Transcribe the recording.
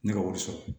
Ne ka wari sɔrɔ